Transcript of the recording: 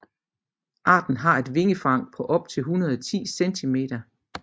Arten har et vingefang på op til 110 centimeter